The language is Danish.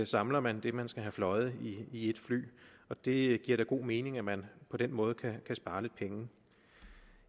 samler man det man skal have fløjet i et fly og det giver da god mening at man på den måde kan spare lidt penge